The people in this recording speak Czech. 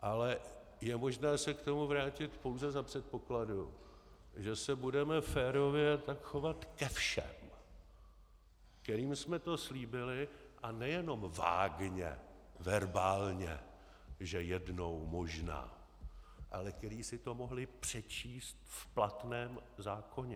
Ale je možné se k tomu vrátit pouze za předpokladu, že se budeme férově tak chovat ke všem, kterým jsme to slíbili, a nejenom vágně, verbálně, že jednou možná, ale kteří si to mohli přečíst v platném zákoně.